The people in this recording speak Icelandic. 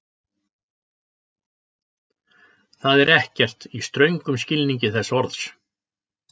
Það er ekkert, í ströngum skilningi þess orðs.